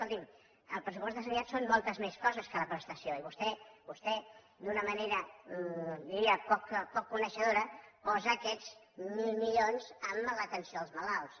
escolti’m el pressupost de sanitat són moltes més coses que la prestació i vostè d’una manera diria poc coneixedora posa aquests mil milions en l’atenció als malalts